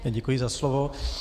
Děkuji za slovo.